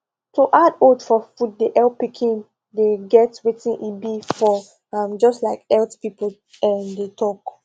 to add oats for food de help pikin de get wetin e be for am just like health people um de talk